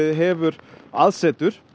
hefur aðsetur